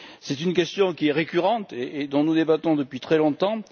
C'est une question qui est récurrente et dont nous débattons depuis très longtemps.